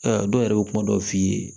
dɔw yɛrɛ bɛ kuma dɔw f'i ye